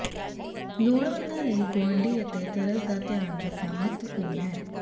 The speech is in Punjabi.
ਲੋੜਵੰਦਾਂ ਲਈ ਗੁਆਂਢੀ ਅਤੇ ਤਰਸ ਦਾ ਧਿਆਨ ਰੱਖਣਾ ਮਹੱਤਵਪੂਰਨ ਹੈ